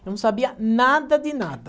Eu não sabia nada de nada.